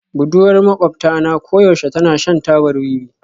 Budurwar maƙwabta na koyaushe tana shan tabar wiwi